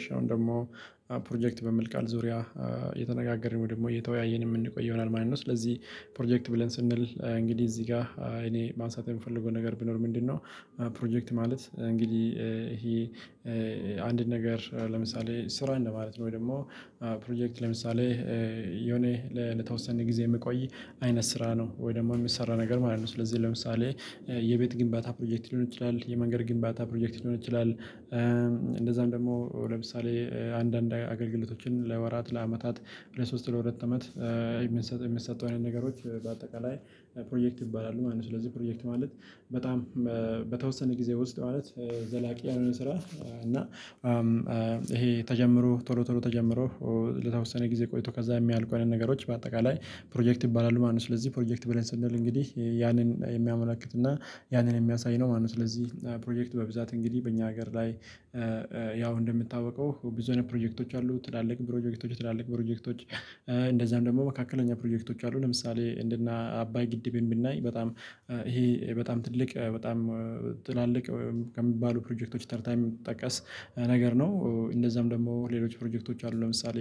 እሺ አሁን ደግሞ ፕሮጀክት በሚል ቃል ዙሪያ እየተነጋገርን ወይ ደግሞ እየተወያየን የምንቆየው ይሆናል ማለት ነው። ስለዚህ ፕሮጀክት ብለን ስንል እንግዲህ እዚህ ጋር እኔ ማንሳት የምፈልገው ነገር ብኖር ምንድነው? ፕሮጀክት ማለት እንግዲህ ይሄ አንድን ነገር ለምሳሌ ስራ እንደማለት ነው። ወይ ደግሞ ፕሮጀክት ለምሳሌ የሆነ ለተወሰነ ጊዜ የሚቆይ አይነት ስራ ነው ወይ ደግሞ የሚሰራ ነገር ማለት ነው። ስለዚህ ለምሳሌ የቤት ግንባታ ፕሮጀክት ሊሆን ይችላል የመንገድ ግንባታ ፕሮጀክት ሊሆን ይችላል። እንደዛም ደግሞ ለምሳሌ አንዳንድ አገልግሎቶችን ለወራት ለአመታት ለሶስት ለሁለት አመት የምንሰጠው የሚሰጡ አይነት ነገሮች በአጠቃላይ ፕሮጀክት ይባላሉ ማለት ነው። ስለዚህ ፕሮጀክት ማለት በጣም በተወሰነ ጊዜ ውስጥ ማለት ዘላቂ ያሎነ ስራ። እና ይሄ ተጀምሮ ቶሎ ቶሎ ተጀምሮ ለተወሰነ ጊዜ ቆይቶ ከዛ ሚያልቁ አይነት ነገሮች በአጠቃላይ ፕሮጀክት ይባላሉ ማለት ነው። ስለዚህ ፕሮጀክት ብለን ስንል እንግዲህ ያንን የሚያመላክትና ያንን የሚያሳይ ነው ማለት ነው። ስለዚህ ፕሮጀክት በብዛት እንግዲህ በእኛ ሀገር ላይ ያው እንደሚታወቀው ብዙ አይነት ፕሮጀክቶች አሉ። ትላልቅ ፕሮጀክቶች ትላልቅ ፕሮጀክቶች እንደዛም ደግሞ መካከለኛ ፕሮጀክቶች አሉ። ለምሳሌ እንደ እነአባይ ግድብን ብናይ በጣም ይሄ በጣም ትልቅ በጣም ትላልቅ ከሚባሉ ፕሮጀክቶች ተርታ የሚጠቀስ ነገር ነው። እንደዛም ደግሞ ሌሎች ፕሮጀክቶች አሉ። ለምሳሌ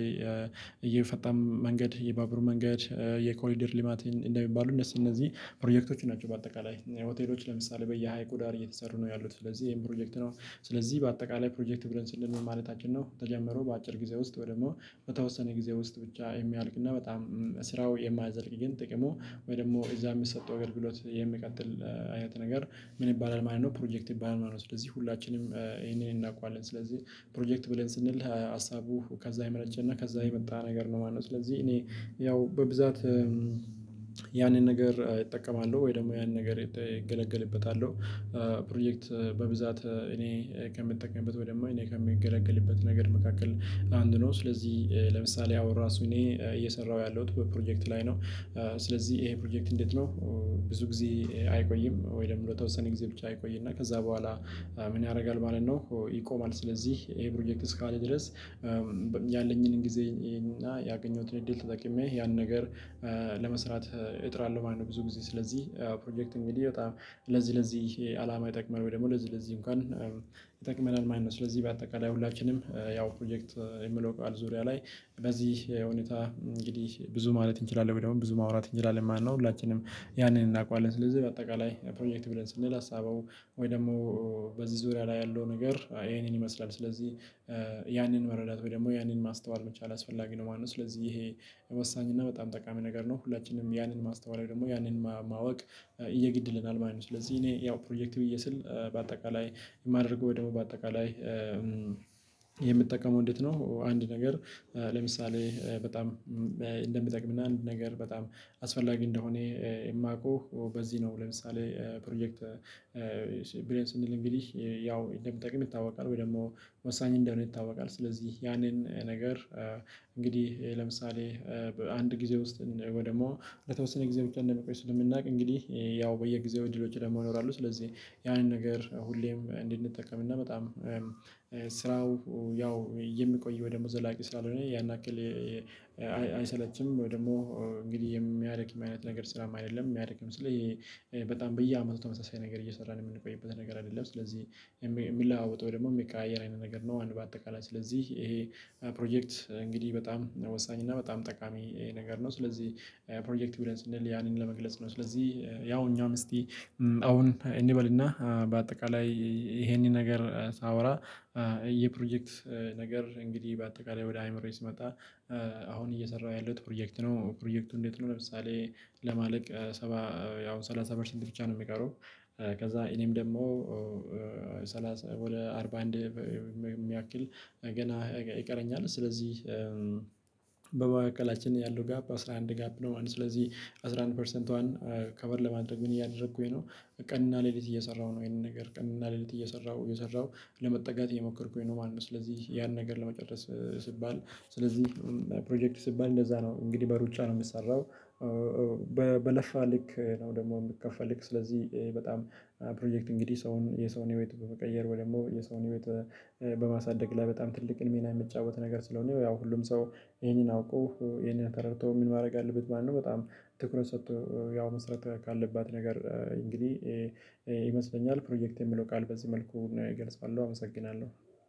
የፈጣን መንገድ የባቡር መንገድ የኮሪደር ልማት እንደሚባሉ እነዚህ እነዚህ ፕሮጀክቶች ናቸው። በአጠቃላይ ሆቴሎች ለምሳሌ በየሀይቁ ዳር እየተሰሩ ነው ያሉት ስለዚህ ይሄም ፕሮጀክት ነው። ስለዚህ በአጠቃላይ ፕሮጀክት ብለን ስንል ምን ማለታችን ነው ተጀመረው በአጭር ጊዜ ውስጥ ወይ ደግሞ በተወሰነ ጊዜ ውስጥ ብቻ የሚያልቅ እና በጣም ስራው የማያዘልቅ ግን ጥቅሙ ወይ ደግሞ እዛ የሚሰጠው አገልግሎት የሚቀጥል አይነት ነገር ምን ይባላል ማለት ነው። ፕሮጀክት ይባላል ማለት ነው። ስለዚህ ሁላችንም ይሄንን እናውቀዋለን ስለዚህ ፕሮጀክት ብለን ስንል ሀሳቡ ከዛ የመነጨ እና ከዛ የመጣ ነገር ነው ማለት ነው። ስለዚህ እኔ ያው በብዛት ነገር እጠቀማለሁ ወይ ደግሞ ያንን ነገር እገለገልበታለው። ፕሮጀክት በብዛት እኔ ከምጠቀምበት ወይ ደግሞ እኔ ከምገለገልበት ነገር መካከል አንዱ ነው። ስለዚህ ለምሳሌ አሁን ራሱ እኔ እየሰራሁ ያለሁት በፕሮጀክት ላይ ነው። ስለዚህ ይሄ ፕሮጀክት እንዴት ነው? ብዙ ጊዜ አይቆይም ወይ ደግሞ ለተወሰነ ጊዜ ብቻ ይቆይ እና ከዛ በኋላ ምን ያደርጋል ማለት ነው። ይቆማል ስለዚህ ይሄ ፕሮጀክት እስካለ ድረስ ያለኝንም ጊዜ እና ያገኘሁትን እድል ተጠቅሜ ያን ነገር ለመስራት እጥራለሁ ማለት ነው። ብዙ ጊዜ ስለዚህ ፕሮጀክት እንግዲህ በጣም ለዚህ ለዚህ አላማ ይጠቅማል ወይ ደግሞ ለዚህ ለዚህ እንኳን ይጠቅመናል ማለት ነው። ስለዚህ በአጠቃላይ ሁላችንም ያው ፕሮጀክት የሚለው ቃል ዙሪያ ላይ በዚህ ሁኔታ እንግዲህ ብዙ ማለት እንችላለን ወይ ደግሞ ብዙ ማውራት እንችላለን ማለት ነው። ሁላችንም ያንን እናውቃለን ስለዚህ በአጠቃላይ ፕሮጀክት ብለን ስንል ሀሳቡ ወይ ደግሞ በዚህ ዙሪያ ላይ ያለው ነገር ይሄንን ይመስላል። ስለዚህ ያንን መረዳት ወይ ደግሞ ያንን ማስተዋል መቻል አስፈላጊ ነው ማለት ነው። ስለዚህ ይሄ የወሳኝ እና በጣም ጠቃሚ ነገር ነው። ሁላችንም ያንን ማስተዋል ደግሞ ያንን ማወቅ የግድ ይለናል ማለት ነው። ስለዚህ እኔ ያው ፕሮጀክት ብዬ ስል በአጠቃላይ የማደርገው ወይ ደግሞ በአጠቃላይ እንዴት ነው? አንድ ነገር ለምሳሌ በጣም እንደሚጠቅምና አንድ ነገር በጣም አስፈላጊ እንደሆነ የማውቀው በዚህ ነው። ለምሳሌ ፕሮጀክት ብለን ስንል እንግዲህ ያው እንደሚጠቅም ይታወቃል። ወይ ደግሞ ወሳኝ እንደሆነ ይታወቃል። ስለዚህ ያንን ነገር እንግዲህ ለምሳሌ በአንድ ጊዜ ውስጥ ወይ ደግሞ ለተወሰነ ጊዜ ብቻ እንደሚቆይ ስለምናውቅ እንግዲህ ያው በየጊዜው እድሎች ደግሞ ይኖራሉ ስለዚህ ያንን ነገር ሁሌም እንድንጠቀም እና በጣም ስራው ያው የሚቆየው ደግሞ ዘላቂ ሳላልሆነ ያን ያክል አይሰለችም ወይ ደግሞ እንግዲህ የሚያደክም አይነት ነገር ስራም አይደለም። የሚያደክም ስል በጣም በየአመቱ ተመሳሳይ ነገር እየሰራን የምንቆይበት ነገር አይደለም። ስለዚህ የሚለዋወጥ ወይ ደግሞ የሚቀያየር አይነት ነገር ነው። አንድ በአጠቃላይ ስለዚህ ይሄ ፕሮጀክት እንግዲህ በጣም ወሳኝ እና በጣም ጠቃሚ ነገር ነው። ስለዚህ ፕሮጀክት ብለን ስንል ያንን ለመግለጽ ነው። ስለዚህ ያው እኛም እስቲ አሁን እንበል እና በአጠቃላይ ይሄንን ነገር ሳወራ የፕሮጀክት ነገር እንግዲህ በአጠቃላይ ወደ አይምሮዬ ሲመጣ አሁን እየሰራሁ ያለሁት ፕሮጀክት ነው። ፕሮጀክቱ እንዴት ነው? ለምሳሌ ለማለቅ ሰባ ያው ሰላሳ ፐርሰንት ብቻ ነው። የሚቀረው ከዛ እኔም ደግሞ ሰላሳ ወደ አርባ አንድ የሚያክል ገና ይቀረኛል። ስለዚህ በመሃከላችን ያለው ጋፕ አስራ አንድ ጋፕ ነው ማለት ነው። ስለዚህ አስራ አንድ ፐርሰንቷን ከቨር ለማድረግ ምን እያደረኩኝ ነው? ቀንና ሌሊት እየሰራሁ ነው። ይሄንን ነገር ቀንና ሌሊት እየሰራሁ እየሰራሁ ለመጠጋት እየሞከርኩኝ ነው ማለት ነው። ስለዚህ ያን ነገር ለመጨረስ ሲባል ስለዚህ ፕሮጀክት ሲባል እንደዛ ነው። እንግዲህ በሩጫ ነው የሚሰራው። በለፋ ልክ ነው ደግሞ የሚከፈልክ ስለዚህ። በጣም ፕሮጀክት እንግዲህ ሰውን የሰውን ህይወት በመቀየር ወይ ደግሞ የሰውን ህይወት በማሳደግ ላይ በጣም ትልቅን ሚና የሚጫወት ነገር ስለሆነ ያው ሁሉም ሰው ይሄንን አውቆ ይሄንን ተረድቶ ምን ማድረግ አለበት ማለት ነው። በጣም ትኩረት ሰጥቶ ያው መስራት ካለባት ነገር እንግዲህ ይመስለኛል ፕሮጀክት የሚለው ቃል በዚህ መልኩ ነው። እገልጻለሁ አመሰግናለሁ።